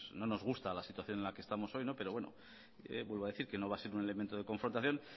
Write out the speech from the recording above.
no nos gusta la situación en la que estamos hoy pero vuelvo a decir que no va a ser un elemento de confrontación